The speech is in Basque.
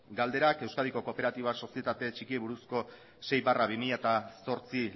galderak euskadiko kooperatiba sozietate txikiei buruzko sei barra bi mila zortzi